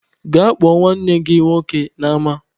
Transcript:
Gaa kpọ nwanne gị nwoke n'ama!